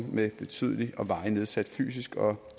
med betydelig og varig nedsat fysisk og